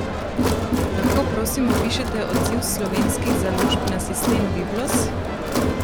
Lahko prosim opišete odziv slovenskih založb na sistem Biblos?